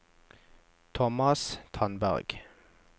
Thomas Tandberg